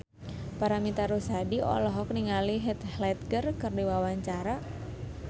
Paramitha Rusady olohok ningali Heath Ledger keur diwawancara